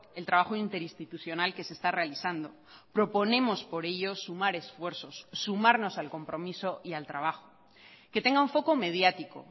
el trabajo interinstitucional que se está realizando proponemos por ellos sumar esfuerzos sumarnos al compromiso y al trabajo que tenga un foco mediático